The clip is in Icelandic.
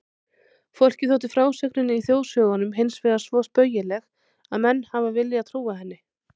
Fólki þótti frásögnin í þjóðsögunum hinsvegar svo spaugileg að menn hafa viljað trúa henni.